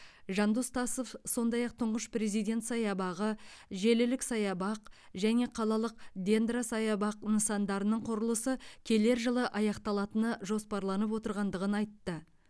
жандос тасов сф сондай ақ тұңғыш президент саябағы желілік саябақ және қалалық дендросаябақ нысандарының құрылысы келер жылы аяқталатыны жоспарланып отырғандығын айтты